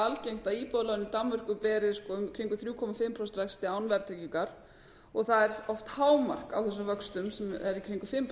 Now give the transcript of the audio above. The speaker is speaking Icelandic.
algengt að íbúðalán í danmörku beri í kringum þrjú og hálft prósent vexti án verðtryggingar og það er oft hámark á þessum vöxtum sem eru í kringum